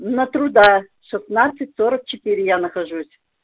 на труда шестнадцать сорок четыре я нахожусь